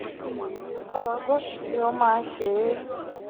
afihan ọlọdọdun ni o ma n se é.